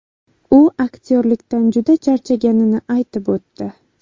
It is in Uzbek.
U aktyorlikdan juda charchaganini aytib o‘tdi.